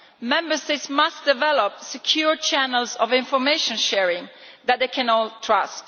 Member States must develop secure channels of information sharing that they can all trust.